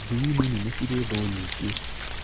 Njui nini nĩ cirĩ thũũ nyingĩ